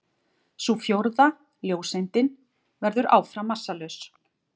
Sú fjórða, ljóseindin, verður áfram massalaus.